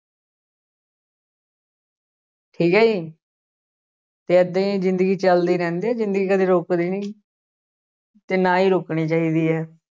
ਠੀਕ ਹੈ ਜੀ ਤੇ ਏਦਾਂ ਹੀ ਜ਼ਿੰਦਗੀ ਚੱਲਦੀ ਰਹਿੰਦੀ ਹੈ ਜ਼ਿੰਦਗੀ ਕਦੇ ਰੁੱਕਦੀ ਨੀ ਤੇ ਨਾ ਹੀ ਰੋਕਣੀ ਚਾਹੀਦੀ ਹੈ।